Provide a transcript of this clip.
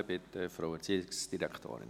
Bitte, Frau Erziehungsdirektorin.